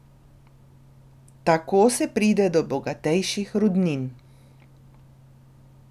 Tako se pride do bogatejših rudnin.